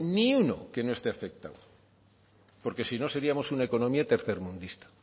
ni uno que no esté afectado porque si no seríamos una economía tercermundista